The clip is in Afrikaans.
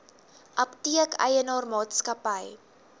apteek eienaar maatskappy